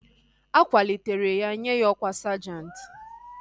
A kwalitere ya nye ya ọkwá sajenti